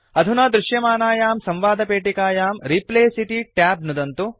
अधुना दृश्यमानायां संवादपेटिकायां रिप्लेस इति ट्याब नुदन्तु